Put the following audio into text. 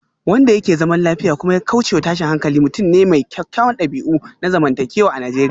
Wanda yake zaman lafiya kuma ya kaucewa tashin hankali mutum ne mai kyawawan dabi'u na zamantakewa a Najeriya